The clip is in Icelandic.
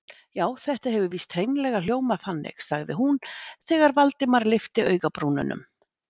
Já, þetta hefur víst hreinlega hljómað þannig- sagði hún þegar Valdimar lyfti augabrúnunum.